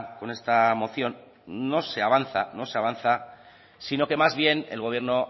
con esta moción no se avanza no se avanza sino que más bien el gobierno